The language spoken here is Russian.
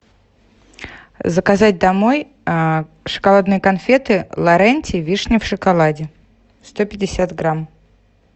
заказать домой шоколадные конфеты лоренти вишня в шоколаде сто пятьдесят грамм